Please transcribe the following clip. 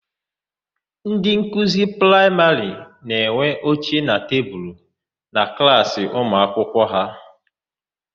Ndị nkuzi praịmarị na-enwe oche na tebulu na klaasị ụmuakwụkwọ ha.